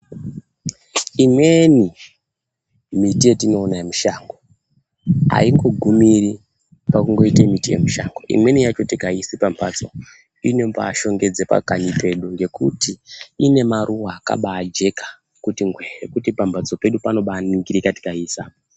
Imweni miti yetinoona yemushango aingogumiri pakungoita miti yemushango imweni yacho tikaiisa pambatso inobaashongedza pakanyi pedu ngekuti ine maruwa akabaajeka kuti ngwee kuti pambatso pedu panobaaningirika kana tikaiisa.